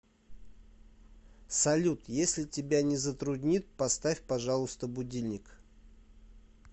салют если тебя не затруднит поставь пожалуйста будильник